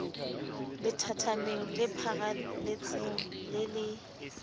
lethathameng le pharaletseng le le